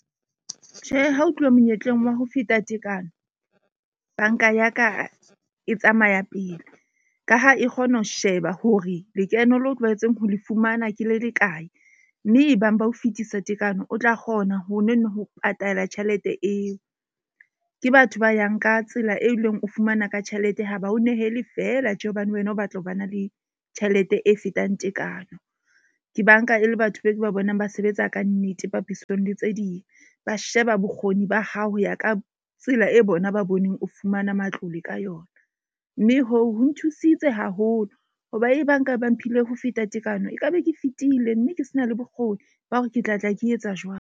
Tjhe, ha ho tluwa monyetleng wa ho feta tekano, bank-a ya ka e tsamaya pele. Ka ha e kgona ho sheba hore lekeno leo tlwaetseng ho le fumana ke le le kae. Mme e bang ba ho fetisa tekano o tla kgona ho nono ho patala tjhelete eo. Ke batho ba yang ka tsela, e leng o fumana ka tjhelete ha ba o nehele fela tje hobane wena o batla ho ba na le tjhelete e fetang tekano. Ke bank-a e le batho be ke ba bonang ba sebetsa kannete papisong le tse ding, ba sheba bokgoni ba hao ho ya ka tsela e bona ba boneng o fumana matlole ka yona. Mme hoo ho nthusitse haholo hoba e bang ba ka mphile ho feta tekano. E ka be ke fetile mme ke se na le bokgoni ba hore ke tla tla ke etsa jwang.